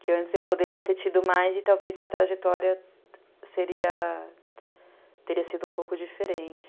Que antes eu poderia ter tido mais e talvez minha trajetória teria sido um pouco diferente.